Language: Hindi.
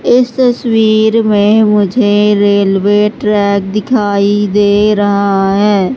इस तस्वीर में मुझे रेलवे ट्रैक दिखाई दे रहा है।